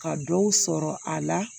Ka dɔw sɔrɔ a la